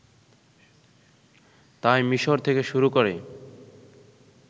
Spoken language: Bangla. তাই মিশর থেকে শুরু করে